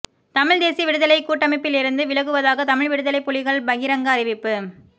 தமிழ்த் தேசிய விடுதலைக் கூட்டமைப்பிலிருந்து விலகுவதாக தமிழ் விடுதலைப் புலிகள் பகிரங்க அறிவிப்பு